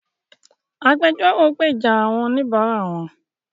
Agbẹjọ́rò gbèjà àwọn oníbara wón.